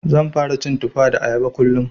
Zan fara cin Tufa da Ayaba kullum.